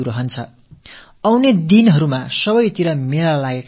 இனிவரும் காலங்களில் பல இடங்களில் விழாக்கள் நடைபெறவிருக்கின்றன